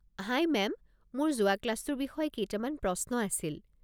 হাই ma'am, মোৰ যোৱা ক্লাছটোৰ বিষয়ে কেইটামান প্ৰশ্ন আছিল।